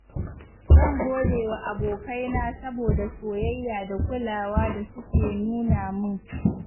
Zan gode wa abokaina saboda soyayya da kulawa da suke nuna min.